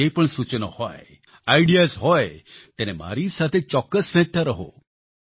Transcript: હવે જે પણ સૂચનો હોય આઇડિયાઝ હોય તેને મારી સાથે ચોક્કસ વહેંચતા રહો